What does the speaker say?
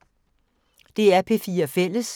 DR P4 Fælles